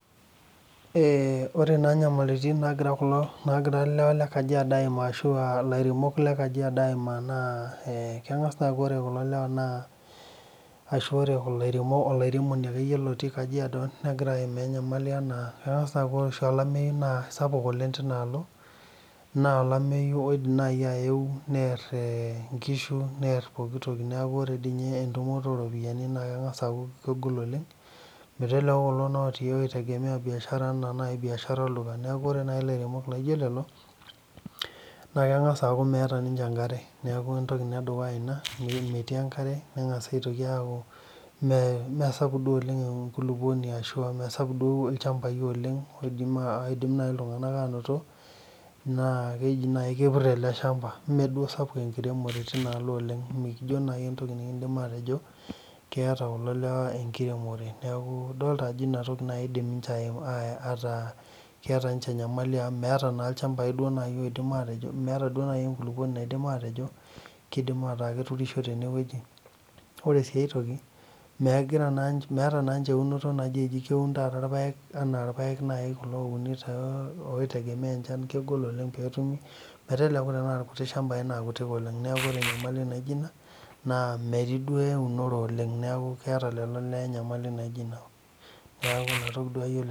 Ore naa inyamalitin naagira kulo ilewa le kajiado aimaa ashu aa laremok le Kajiado amaa naa kengas aaku ore kulo lewa naa ashu ore ilaremok, ilaremoni ake iyie lotii Kajiado negira aimaa inyamali anaa engas aaku ore oshi olameiyu naa sapuk oleng tenialo, naa olameiyu oidim nai aeu near enkishu, near pooki toki naaku ore dei ninye entumoto oo iropiyiani naa kengas aaku kegol oleng, meteleku naa kulo otii oitegemea mbiashara, naaku kore nai ilaremok naijo lelo, na kengas aaku meata ninche inkare, naaku entoki inia edukuya inia, metii enkare nengasi aitoki aaku mee sapuk duo oleng nkuluponi, ashu emesapuk duo ilchambai oleng oidim nai ltungana aanoto, naa keidim nai akepir ale ilshamba. mee duo esapuk enkiremore tenialo oleng, mekijo nai entoki nikindim aatejo keata kulo lewa enkiremore, naaku idolita ajo inia toki naaidim ninche ataa keeta ninche inyamali meata naa ilchambai oidim aatejo, meeta naa inkurumwa naidim aatejo keidim ataa keturushore teineweji, ore sii aitoki megira meata na ninche eunoto najii keun naa irpaek ana irpaek naii kulo ouni too, oitegemean inchan, kegol oleng peetumi. meteleki naa lkutii ilchambai naa kutik oleng, naaku ore inyamali naijo ina naa metii duo eunore oleng, neaku keeta lelo ilewa inyamali naijo ina, naaku inia toki duo aiyolo.